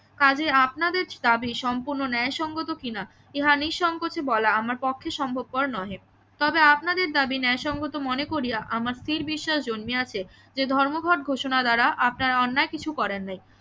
কাজেই আপনাদের দাবি সম্পূর্ণ ন্যায় সঙ্গত কিনা ইহা নিঃসংকোচে বলা আমার পক্ষে সম্ভবকর নহে তবে আপনাদের দাবি ন্যায় সঙ্গত মনে করিয়া আমার স্থির বিশ্বাস জন্মিয়াছে যে ধর্মঘট ঘোষণা দ্বারা আপনারা অন্যায় কিছু করেন নাই